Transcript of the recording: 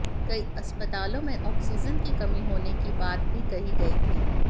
कई अस्पतालों में ऑक्सीजन की कमी होने की बात भी कही गई थी